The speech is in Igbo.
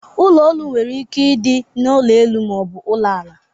Ụlọ ọrụ nwere ike ịdị n'ụlọ elu ma ọ bụ n'ụlọ ala.